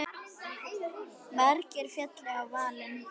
Margir féllu í valinn.